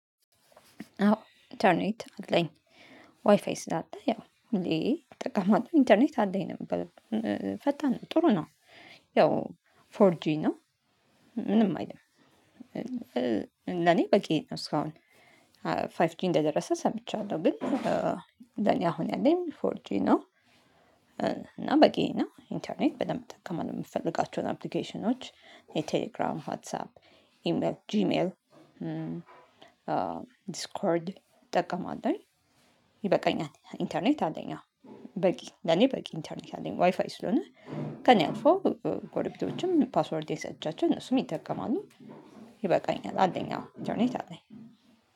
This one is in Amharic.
አዎ ኢንተርኔት አለኝ ዋይፋይ ስላለ ያው ጠቃማቱን ኢንተርኔት አለኝ ነበር የምበለው ፈጣን ጥሩ ነው። ያው ፎር ጂ ነው ምንም አይልም። ለኔ በቂየ ነው እስካሁን ፋይፍ ጂ እንደደረሰ ሰምቻለሁ ግን ለኔ አሁን ያለኝ ፎርጂ ነው። እና በቂ ነው ኢንተርኔት በደንብ መጠቀም እምፈልጋቸውን አፕሊኬሽኖች የቴሌግራም ዋትሳፕ ኢሜል ጂሜል ዲስኮርድ ጠቀመዋለሁኝ ይበቃኛል። ኢንተርኔት አለኝ። አዎ በቂ ለኔ በቂ ኢንተርኔት አለኝ ዋይፋይ ስለሆነ ከእኔ አልፈው ጎረቤቶችም ፓስወርዴን ሰጥቻቸው እነሱም ይጠቀማሉ። ይበቃኛል አለኝ አዎ ኢንተርኔት አለኝ